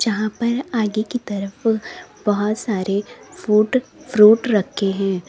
यहाँ पर आगे की तरफ बहुत सारे फ्रूट फ्रूट रखे हैं।